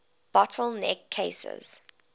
bottle neck cases